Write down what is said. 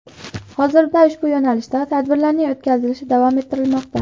Hozirda ushbu yo‘nalishda tadbirlarning o‘tkazilishi davom ettirilmoqda.